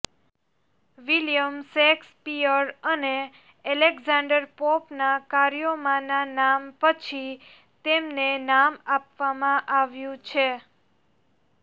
William Shakespeare અને Alexander પોપના કાર્યોમાંના નામ પછી તેમને નામ આપવામાં આવ્યું છે